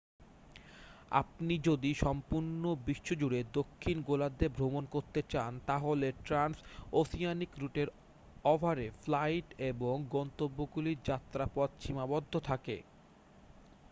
আপনি যদি সম্পূর্ণ বিশ্বজুড়ে দক্ষিণ গোলার্ধে ভ্রমণ করতে চান তাহলে ট্রান্স ওসিয়ানিক রুটের অভাবে ফ্লাইট এবং গন্তব্যগুলির যাত্রাপথ সীমাবদ্ধ থাকে